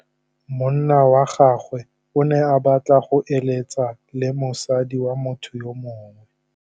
Monna wa gagwe o ne a batla go êlêtsa le mosadi wa motho yo mongwe.